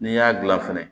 N'i y'a dilan fɛnɛ